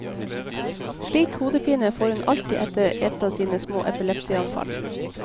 Slik hodepine får hun alltid etter et av sine små epilepsianfall.